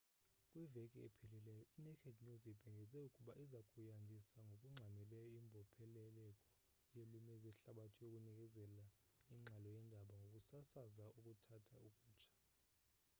kwiveki ephelileyo inaked news ibhengeze ukuba iza kuyandisa ngokungxamileyo imbopheleleko yeelwimi zehlabathi yokunikeza ingxelo yendaba ngokusasaza okuthathu okutsha